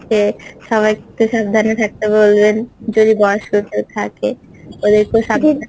হচ্ছে সবাইকে একটু সাবধানে থাকেতে বলবেন যদি বয়স্ক কেউ থাকেন ওদেরকেও সাবধানে